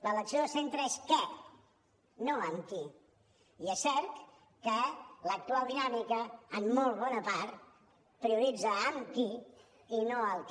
l’elecció de centre és què no amb qui i és cert que l’actual dinàmica en molt bona part prioritza amb qui i no el que